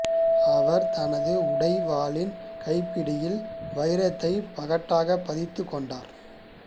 அவர் தனது உடைவாளின் கைப்பிடியில் வைரத்தை பகட்டாக பதித்துக் கொண்டார்